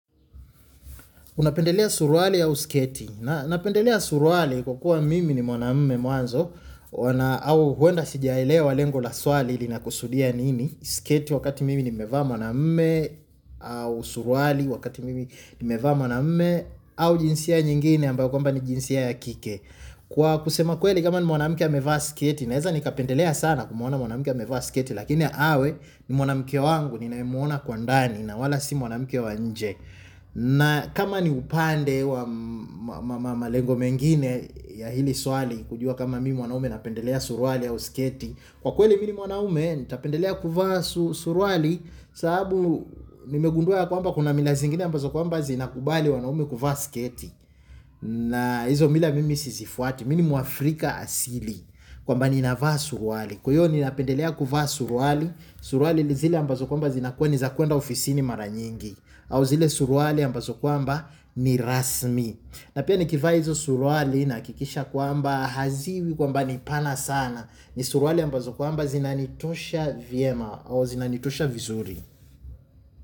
Unapendelea suruali au sketi. Napendelea suruali kwa kuwa mimi ni mwanamume mwanzo. Au huenda sijaelewa lengo la swali linakusudia nini. Sketi wakati mimi nimevaa mwanamume au suruali wakati mimi nimevaa mwanamume au jinsia nyingine ambayo kwamba ni jinsia ya kike. Kwa kusema kweli kama ni mwanamke amevaa sketi. Naeza nikapendelea sana kumwona mwanamke amevaa sketi. Lakini awe ni mwanamke wangu ninayemwona kwa ndani na wala si mwanamke wa nje. Na kama ni upande wa malengo mengine ya hili swali kujua kama mimi mwanaume napendelea suruali au sketi kwa kweli mi ni mwanaume napendelea kuvaa suruali sababu nimegundua kwamba kuna mila zingine zinakubali wanaume kuvaa sketi na hizo mila mimi sizifuati mi ni muafrika asili kwamba ninavaa suruali kwa hiyo ninapendelea kuvaa suruali suruali ni zile ambazo kwamba zinakuwa nizakuenda ofisini mara nyingi au zile suruali ambazo kwamba ni rasmi na pia nikivaa hizo suruali nahakikisha kwamba haziwi kwamba ni pana sana ni suruali ambazo kwamba zinanitosha vyema au zinanitosha vizuri.